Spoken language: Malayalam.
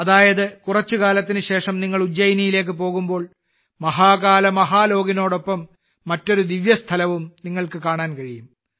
അതായത് കുറച്ച് കാലത്തിന് ശേഷം നിങ്ങൾ ഉജ്ജയിനിലേക്ക് പോകുമ്പോൾ മഹാകാൽ മഹാലോകിനൊപ്പം മറ്റൊരു ദിവ്യസ്ഥലവും നിങ്ങൾക്ക് കാണാൻ കഴിയും